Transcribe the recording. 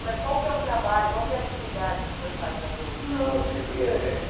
Mas qual que é o trabalho, qual que é a atividade que o senhor faz nas ONGs? Não, sempre é